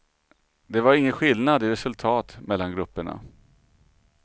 Det var ingen skillnad i resultat mellan grupperna.